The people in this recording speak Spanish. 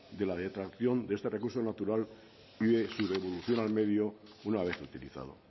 de la detracción de este recurso natural y de su devolución al medio una vez utilizado